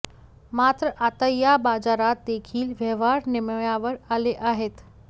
मात्र आता या बाजारात देखील व्यवहार निम्म्यावर आले आहेत